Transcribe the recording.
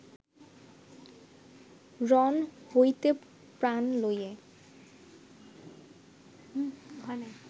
রণ হৈতে প্রাণ লয়ে